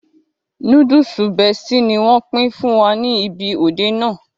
Núdúùsù Bestie ni wọ́n pín fún wa ní ibi òde náà